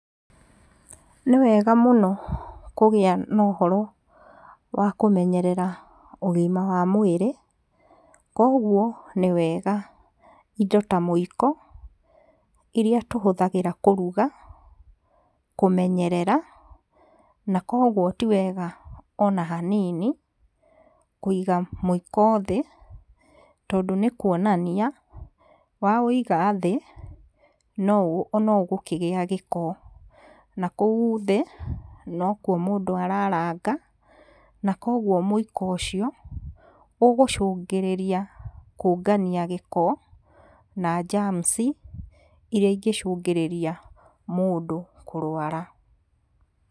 Nĩwega mũno kũgĩa na ũhoro wa kũmenyerera ũgima wa mwĩrĩ, koguo nĩwega indo ta muiko, iria tũhũthagĩra kũruga, kũmenyerera, na koguo ti wega ona hanini, kuiga mũiko thĩ, tondũ nĩkuonania, wa ũiga thĩ, no ũgũkĩgĩa gĩko. Na kũu thĩ, nokuo mũndũ araranga, na koguo mũiko ũcio, ũgũcungĩrĩria kũngania gĩko, na germs iria ingĩcũngĩrĩria mũndũ kũrwara.